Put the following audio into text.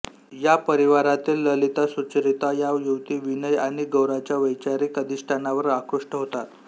या परिवारातील ललितासुचरिता या युवती विनय आणि गोराच्या वैचारिक अधिष्ठानावर आकृष्ट होतात